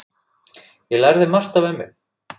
Ég lærði margt af ömmu.